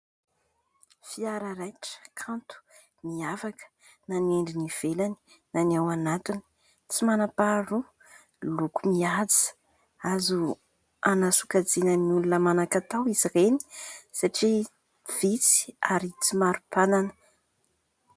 Fiara raitra kanto miavaka na ny endriny ivelany na ny ao anatiny, tsy manam-paharoa loko mihaja, Azo hanasokajina ny olona manankatao izy ireny satria visy ary tsy maro mpanana.